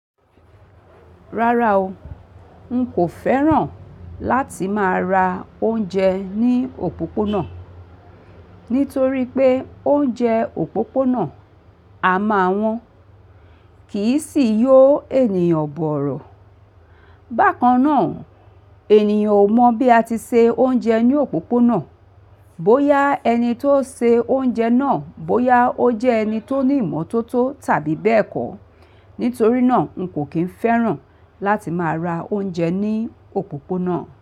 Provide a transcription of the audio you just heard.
Rárá o, n kò fẹ́ràn láti máa ra oúnjẹ ní òpópónà, nítorí pé oúnjẹ òpópónà a máa wọ́n, kì í sì yó ènìyàn bọ̀rọ̀. Bákan náà, ènìyàn ò mọ̀ bí a ti se oúnjẹ ní òpópónà, bóyá ẹni tó se oúnjẹ náà bóyá ó jẹ́ ẹni tó ní ìmọ́tótó tàbí bẹ́ẹ̀ kọ́. Nítorí náà, n kò kín fẹ́ràn láti máa ra oúnjẹ ní òpópónà.